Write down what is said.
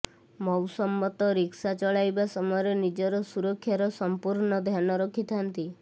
ମୌସମ୍ମତ rickshaw ଚଳାଇବା ସମୟରେ ନିଜର ସୁରକ୍ଷାର ସଂପୂର୍ଣ୍ଣ ଧ୍ୟାନ ରଖିଥାନ୍ତି